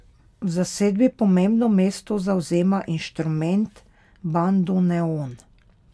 V zasedbi pomembno mesto zavzema inštrument bandoneon.